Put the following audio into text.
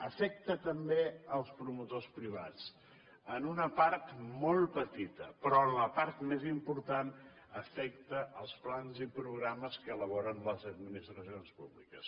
afecta també els promotors privats en una part molt petita però en la part més important afecta els plans i programes que elaboren les administracions públiques